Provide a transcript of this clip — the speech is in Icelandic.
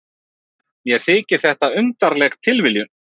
Mér þykir þetta undarleg tilviljun.